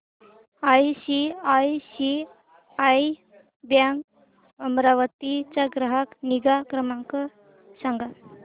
ICICI bank Amravati चा ग्राहक निगा क्रमांक सांगा